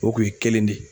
O kun ye kelen de ye